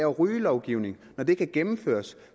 rygelovgivning og det kan gennemføres